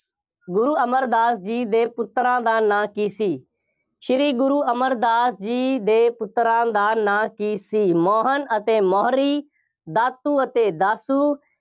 ਗੁਰੂ ਅਮਰਦਾਸ ਜੀ ਦੇ ਪੁੱਤਰਾਂ ਦਾ ਨਾਂ ਕੀ ਸੀ? ਸ੍ਰੀ ਗੁਰੂ ਅਮਰਦਾਸ ਜੀ ਦੇ ਪੁੱਤਰਾਂ ਦਾ ਨਾਂ ਕੀ ਸੀ? ਮੋਹਨ ਅਤੇ ਮੋਹਰੀ, ਦਾਤੂ ਅਤੇ ਦਾਸੂ,